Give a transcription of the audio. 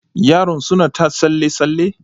Yaron suna ta tsalle tsalle?